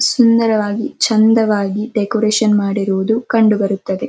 ಸುಂದರವಾಗಿ ಚಂದವಾಗಿ ಡೆಕೋರೇಷನ್ ಮಾಡಿರೋದು ಕಂಡು ಬರುತ್ತದೆ.